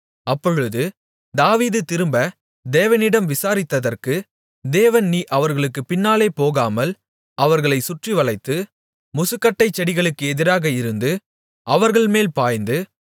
அப்பொழுது தாவீது திரும்ப தேவனிடம் விசாரித்ததற்கு தேவன் நீ அவர்களுக்குப் பின்னாலே போகாமல் அவர்களைச் சுற்றிவளைத்து முசுக்கட்டைச் செடிகளுக்கு எதிராக இருந்து அவர்கள்மேல் பாய்ந்து